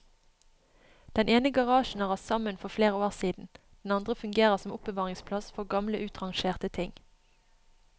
Den ene garasjen har rast sammen for flere år siden, den andre fungerer som oppbevaringsplass for gamle utrangerte ting.